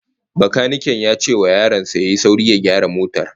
Bakaniken ya ce wa yaron sa ya yi sauri ya gyara motar